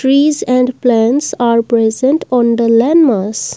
trees and plants are present on the landmass.